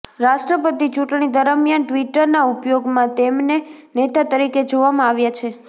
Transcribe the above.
રાષ્ટ્રપતિ ચુંટણી દરમિયાન ટ્વિટરના ઉપયોગમાં તેમને નેતા તરીકે જોવામાં આવ્યા છે